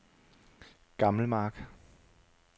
Gammelmark